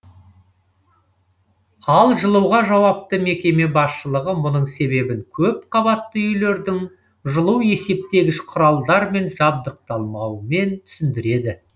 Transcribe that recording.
ал жылуға жауапты мекеме басшылығы мұның себебін көпқабатты үйлердің жылу есептегіш құралдармен жабдықталмауымен түсіндіреді